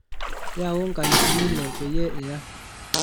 yaau nkalifuni ile peyie iya